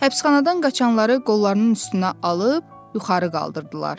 Həbsxanadan qaçanları qollarının üstünə alıb yuxarı qaldırdılar.